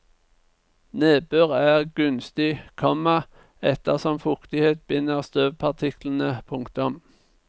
Nedbør er gunstig, komma ettersom fuktighet binder støvpartiklene. punktum